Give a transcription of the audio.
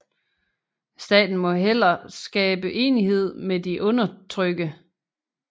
Staten må heller skabe enighed med de undertrykke